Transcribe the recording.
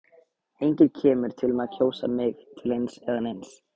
Enginn kemur til með að kjósa mig til eins eða neins.